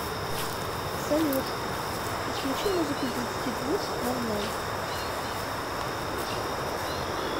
салют отключи музыку с двадцати двух ноль ноль